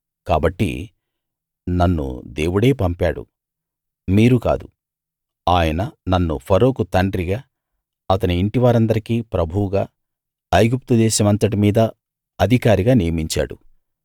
కాబట్టి నన్ను దేవుడే పంపాడు మీరు కాదు ఆయన నన్ను ఫరోకు తండ్రిగా అతని ఇంటివారందరికి ప్రభువుగా ఐగుప్తు దేశమంతటి మీదా అధికారిగా నియమించాడు